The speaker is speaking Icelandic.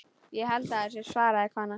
Ég held það svaraði konan.